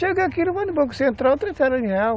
Chega aqui, vai no Banco Central, transfere em real.